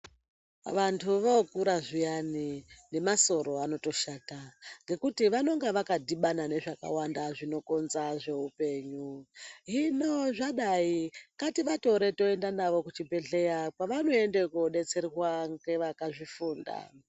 Vantu vookura zviyani nemasoro anotoshata .Ngekuti vanonga vakadhibana nezvakawanda zvinokonza zveupenyu. Hino zvadai ngativatore toenda navo kuchibhedhleya kwavanoenda kobetserwa ngevakazvifunda.